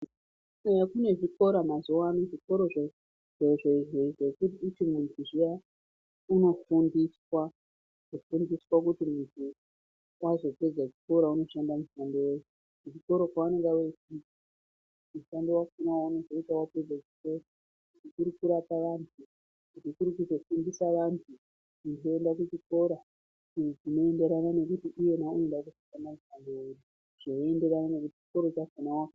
Eyaa kune zvikora mazuva ano zvikoro zvekuti mundu zviya unofundiswa kufundiswa kuti mundu wazopedza chikora unoshanda mushando weyi kuchikora kwavanenge veifunda mushando wacho waunozoita wapedza chikora chikuru kurapa vandu nekuzofundisa vandu uchienda kuchikora chinoenderana nekuti unode kuzoita basa reyi.